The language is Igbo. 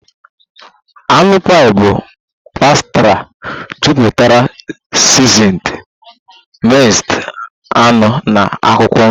Anụ pie bụ pastry jupụtara seasoned minced anụ na akwụkwọ nri